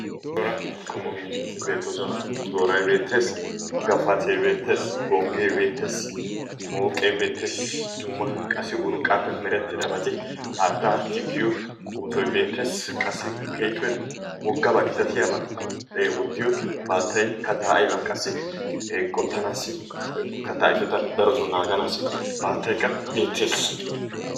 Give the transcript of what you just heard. cora qommo miishshati beettoosona. tooray beettees. gafatte beettees. gongge beettees. mooqe beettees. dumma dumma qassi urqqappe meretidaabati haattaa tikkiyo oottoy beettes. qassi keehippe woggaaba gitatiyaaba wottiyoo baattay katta aybba qassi qottaanassi katta ayfeta darotto naaganassi baattaykka beettees.